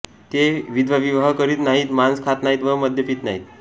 ते विधवाविवाह करीत नाहीत मांस खात नाहीत व मद्य पीत नाहीत